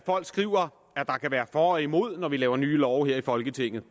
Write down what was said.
folk skriver for og imod når vi laver nye love her i folketinget